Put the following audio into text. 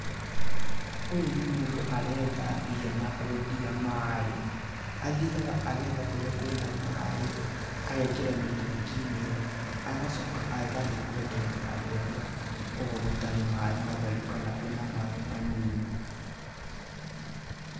Ũyũ nĩ mũndũ aretha mbia na kwendia maaĩ , athiaga agetha kũrĩa kwĩna maaĩ agekĩra mĩtũngi-inĩ , agacoka agathiĩ kwenderia andũ arĩa kwao gũtarĩ maaĩ matheru kana kwĩna maaĩ manini.